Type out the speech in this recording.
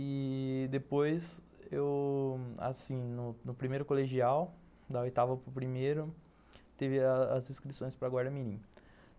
E depois eu, assim, no primeiro colegial, da oitava para o primeiro, teve as inscrições para Guarda Mirim.